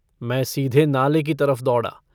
मैं सीधे नाले की तरफ दौड़ा।